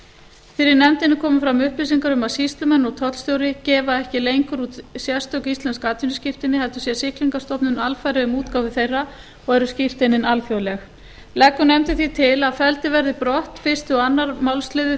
fyrir nefndinni komu fram upplýsingar um að sýslumenn og tollstjóri gefa ekki lengur út sérstök íslensk atvinnuskírteini heldur sér siglingastofnun alfarið um útgáfu þeirra og eru skírteinin alþjóðleg leggur nefndin því til að felldir verði brott fyrstu og önnur málsl